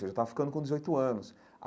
Eu já estava ficando com dezoito anos.